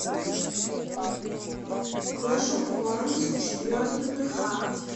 клэш оф кланс четвертый тх